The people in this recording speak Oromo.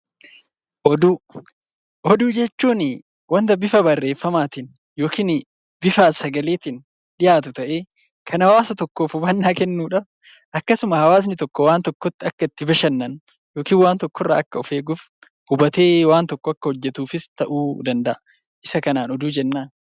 Oduu Oduu jechuun wanta bifa barreeffamaatiin yookiin bifa sagaleetiin dhiyaatu ta'ee, kan hawaasa tokkoof hubannaa kennu dha. Akkasuma hawaasni tokko waan tokkotti akka bashannanu yookiin waan tokko irraa akka of eeguuf, hubatee waan tokko akka hojjetuufis ta'uu danda'a. Isa kanaan 'Oduu' jennaan.